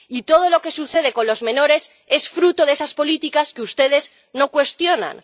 Y todo lo que sucede con los menores es fruto de esas políticas que ustedes no cuestionan.